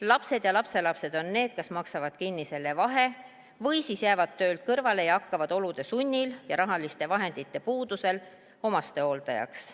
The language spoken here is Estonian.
Lapsed ja lapselapsed on need, kes maksavad selle vahe kinni või siis jäävad töölt kõrvale ja hakkavad olude sunnil ja rahaliste vahendite puudusel omastehooldajaks.